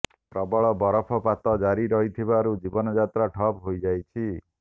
ପ୍ରବଳ ବରଫପାତ ଜାରି ରହିଥିବାରୁ ଜୀବନ ଯାତ୍ରା ଠପ୍ ହୋଇଯାଇଛି